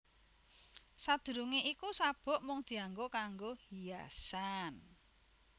Sadurungé iku sabuk mung dianggo kanggo hiasan